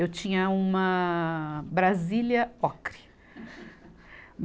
Eu tinha uma Brasília ocre.